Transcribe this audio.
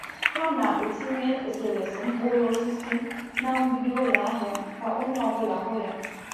Ha na-etinye eserese mkpụrụ osisi n’ mgbidi ụlọ ahịa ka onye ọ bụla hụ ya.